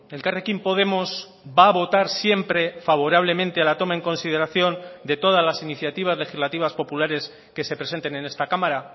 elkarrekin podemos va a votar siempre favorablemente a la toma en consideración de todas las iniciativas legislativas populares que se presenten en esta cámara